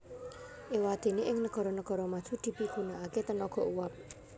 Éwadéné ing negara negara maju dipigunakaké tenaga uap